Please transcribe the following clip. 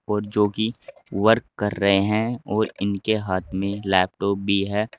और जो कि वर्क कर रहे हैं और इनके हाथ में लैपटॉप भी है।